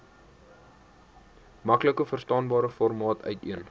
maklikverstaanbare formaat uiteen